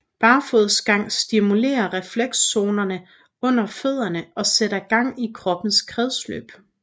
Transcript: Barfodsgang stimulerer reflekszonerne under fødderne og sætter gang i kroppens kredsløb